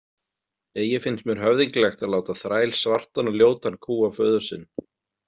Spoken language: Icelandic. Eigi finnst mér höfðinglegt að láta þræl svartan og ljótan kúga föður sinn.